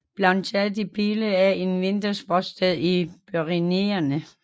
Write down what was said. Plateau de Beille er et vintersportssted i Pyrenæerne